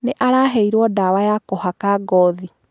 Nĩ araheirwo ndawa ya kũhaka ngothi.